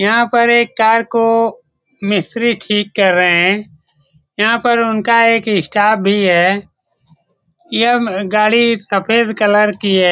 यहां पर एक कार को मिस्त्री ठीक कर रहे है यहां पर उनका एक स्टाफ भी है ये गाड़ी सफेद कलर की है।